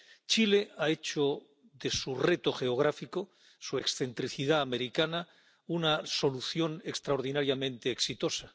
Chile ha hecho de su reto geográfico —su excentricidad americana— una solución extraordinariamente exitosa.